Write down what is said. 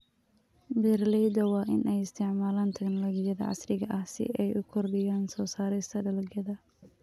Beeraleyda waa in ay isticmaalaan teknolojiyada casriga ah si ay u kordhiyaan soo saarista dalagyada.